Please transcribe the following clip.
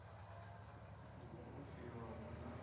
na u ofhiwa hu na